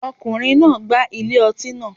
Ọkùnrin náà gbá ilé ọtí naa